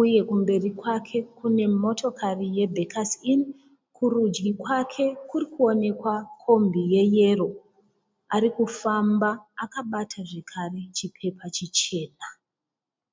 uye kumberi kwake kune motokari ye bhekasi ini kurudyi kwake kurikuoneka kombi ye yero arikufamba akabata zvikari zvipepa zvichena.